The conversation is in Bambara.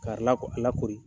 K'a rila ka lakori